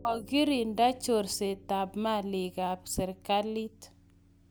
Kokirinda chorsetab malikab serikalit.